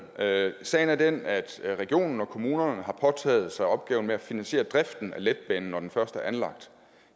sagen sagen er den at regionerne og kommunerne har påtaget sig opgaven med at finansiere driften af letbanen når den først er anlagt